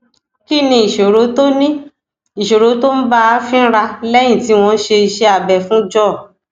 kí ni ìṣòro tó ni ìṣòro tó ń bá a fínra léyìn tí wón ṣe iṣé abẹ fún jaw